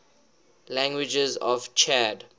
languages of chad